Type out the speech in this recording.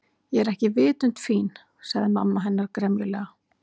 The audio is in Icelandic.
Ég er ekki vitund fín- sagði mamma hennar gremjulega.